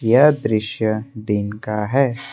यह दृश्य दिन का है।